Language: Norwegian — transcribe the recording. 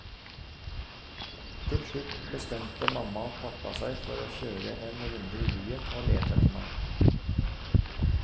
Til slutt bestemte mamma og pappa seg for å kjøre en runde i byen å lete etter meg.